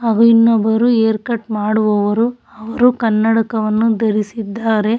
ಅವ ಇನ್ನೊಬರು haircut ಮಾಡುವವರು ಅವರು ಕನ್ನಡಕವನ್ನು ಧರಿಸಿದ್ದಾರೆ.